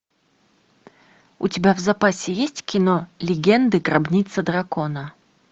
у тебя в запасе есть кино легенды гробница дракона